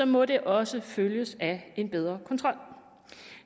må det også følges af en bedre kontrol